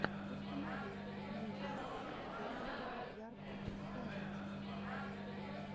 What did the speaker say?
установи музыка зе бэк ярд сайнтист